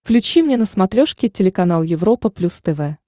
включи мне на смотрешке телеканал европа плюс тв